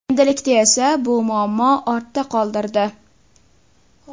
Endilikda esa bu muammo ortda qoldirdi.